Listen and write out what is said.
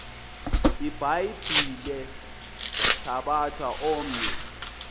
ibhayibhile thabatha omnye